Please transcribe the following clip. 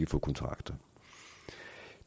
få kontrakter